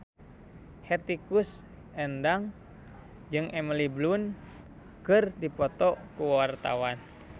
Hetty Koes Endang jeung Emily Blunt keur dipoto ku wartawan